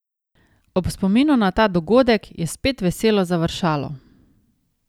Ob spominu na ta dogodek je spet veselo završalo.